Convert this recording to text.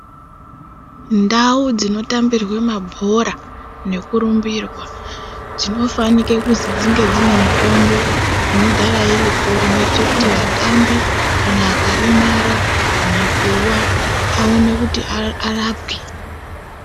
Ndau dzinotambirwe mabhora nekurumbirwa dzinofanike kuzi dzinge dzine mitombo inogara iripo ineite kuti vatambi kana akaremara kana kuwa awone kuti ara arapwe.